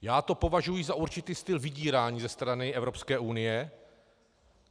Já to považuji za určitý styl vydírání ze strany Evropské unie.